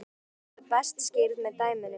Víxlunin verður best skýrð með dæmum.